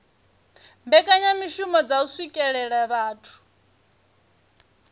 mbekanyamishumo dza u swikelela vhathu